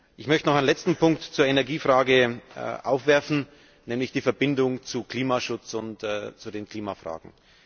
Ich möchte noch einen letzten Punkt zur Energiefrage aufwerfen, nämlich die Verbindung zum Klimaschutz und zu den Klimafragen.